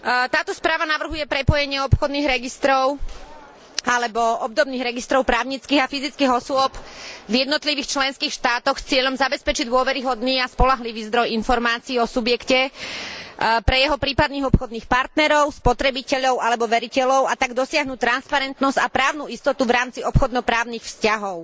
Táto správa navrhuje prepojenie obchodných registrov alebo obdobných registrov právnických a fyzických osôb v jednotlivých členských štátoch s cieľom zabezpečiť dôveryhodný a spoľahlivý zdroj informácií o subjekte pre jeho prípadných obchodných partnerov, spotrebiteľov alebo veriteľov, a tak dosiahnuť transparentnosť a právnu istotu v rámci obchodno právnych vzťahov.